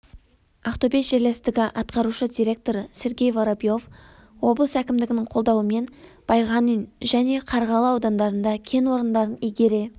ақтөбе жерлестігі атқарушы директоры сергей воробьев облыс әкімдігінің қолдауымен байғанин және қарғалы аудандарында кен орындарын игере